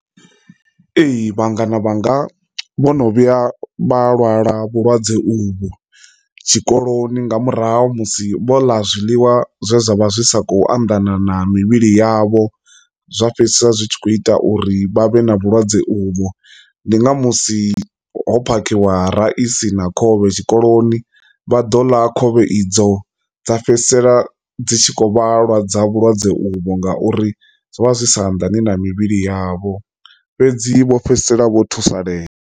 Ee, vhangana vhanga vhono vhuya vha lwala vhulwadze uvho tshikoloni nga murahu musi vho ḽa zwiḽiwa zwe zwa vha zwi sa khou anḓana na mivhili yavho zwa fhedzisela zwitshi kho ita uri vha vhe na vhulwadze uvho. Ndi nga musi ho phakhiwa ra i si na khovhe tshikoloni vha ḓo ḽa khovhe idzo dza fhedzisela dzi tshi kho vhalwa dza vhulwadze uvho ngauri zwo vha zwi sa anḓani na mivhili yavho fhedzi vho fhedzisela vho thusalea.